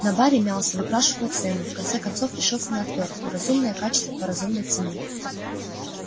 на баре мялся выспрашивал цены в конце концов решился на отвёртку разумное качество по разумной цене